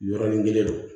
Yɔrɔnin kelen don